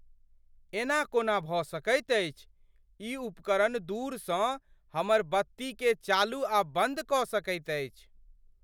एना कोना भऽ सकैत अछि! ई उपकरण दूरसँ हमर बत्तीकेँ चालू आ बन्द कऽ सकैत अछि?